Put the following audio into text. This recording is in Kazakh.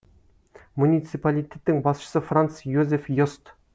муниципалитеттің басшысы франц йозеф йост